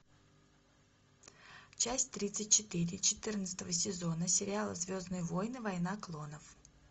часть тридцать четыре четырнадцатого сезона сериала звездные войны война клонов